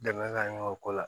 Dɛmɛ ka ɲɛ o ko la